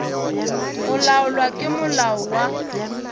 go laolwa ke molao wa